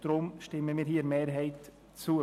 Deshalb stimmen wir der FiKo-Mehrheit zu.